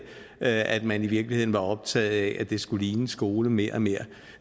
at man i virkeligheden var optaget af at det skulle ligne en skole mere og mere